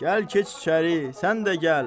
Gəl keç içəri, sən də gəl.